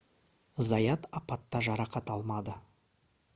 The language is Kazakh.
заят апатта жарақат алмады